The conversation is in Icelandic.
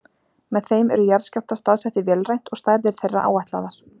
Með þeim eru jarðskjálftar staðsettir vélrænt og stærðir þeirra áætlaðar.